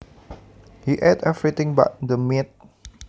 He ate everything but the meat